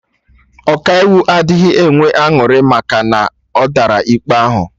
Ọkaiwu adịghị enwe aṅụrị maka na ọ dara ikpe ahụ